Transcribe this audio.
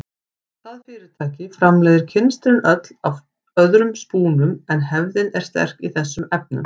Það fyrirtæki framleiðir kynstrin öll af öðrum spúnum en hefðin er sterk í þessum efnum.